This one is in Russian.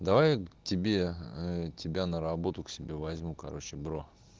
давай тебе ээ тебя на работу к себе возьму короче бро